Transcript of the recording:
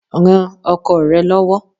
Ran ọkọ rẹ lọ́wọ́.